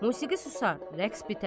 Musiqi susar, rəqs bitər.